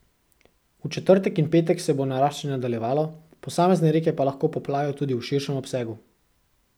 V četrtek in petek se bo naraščanje nadaljevalo, posamezne reke pa lahko poplavijo tudi v širšem obsegu.